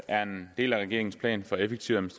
er en del af regeringens plan for effektiv